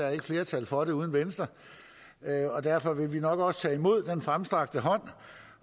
er flertal for det uden venstre og derfor vil vi nok også tage imod den fremstrakte hånd